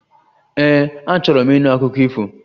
Ee, achọrọ m ịnụ akụkọ ifo